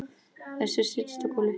Össur settist á gólfið